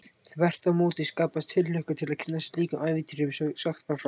Þvert á móti skapaðist tilhlökkun til að kynnast slíkum ævintýrum sem sagt var frá.